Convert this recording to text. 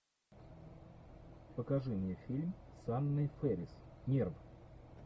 покажи мне фильм с анной фэрис нерв